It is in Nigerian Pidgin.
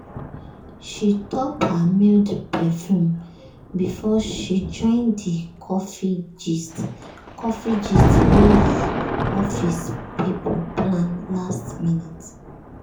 she top her mild perfume before she join the coffee gist coffee gist wey her office people plan last minute.